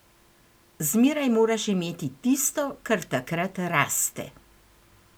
Zmeraj moraš imeti tisto, kar takrat raste.